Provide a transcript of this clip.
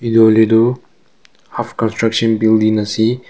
etu hoi le tu half construction building ase.